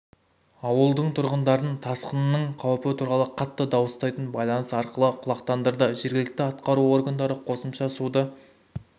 ауылдың тұрғындарын тасқынның қауіпі туралы қатты дауыстайтын байланыс арқылы құлақтандырды жергілікті атқару органдары қосымша суды